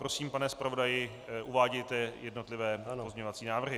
Prosím, pane zpravodaji, uvádějte jednotlivé pozměňovací návrhy.